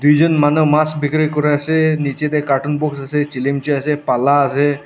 tuijon manu mas bikiri kuri ase niche te carton box ase chilimchi ase pala ase.